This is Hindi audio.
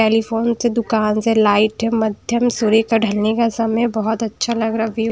टेलीफोन से दुकान से लाइट मध्यम सूरी का ढलने का समय बहुत अच्छा लग रहा व्यू ।